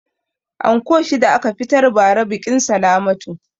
Anko shida a ka fitar ba ra biƙin salamatu